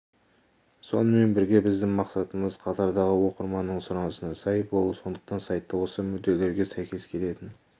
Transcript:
сонымен бірге біздің мақсатымыз қатардағы оқырманның сұранысына сай болу сондықтан сайтта осы мүдделерге сәйкес келетін